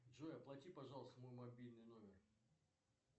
джой оплати пожалуйста мой мобильный номер